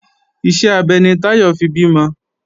Iṣẹ́ abẹ ni Táyọ̀ fi bímọ